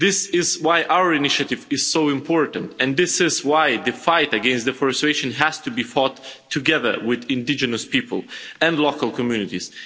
This is why our initiative is so important, and this is why the fight against deforestation has to be fought together with indigenous people and local communities.